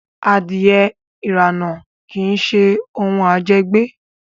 Adìẹ ìrànà kí ṣe òun à jẹ gbé